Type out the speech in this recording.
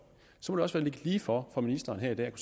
så må det også ligge lige for for ministeren her i dag at